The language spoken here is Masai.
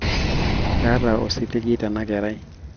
kaata osiligi tenakerai